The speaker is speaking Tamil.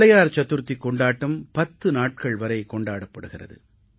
விநாயகர் சதுர்த்திக் கொண்டாட்டம் 10 நாட்கள் வரை கொண்டாடப்படுகிறது